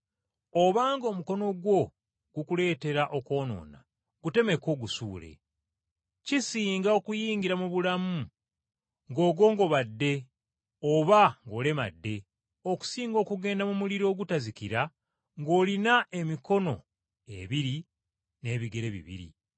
Obanga omukono gwo gukuleetera okwonoona gutemeko ogusuule. Kisinga okuyingira mu bulamu ng’ogongobadde oba ng’olemadde, okusinga okugenda mu muliro ogutazikira ng’olina emikono ebiri n’ebigere bibiri.